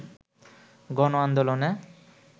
গণ আন্দোলনে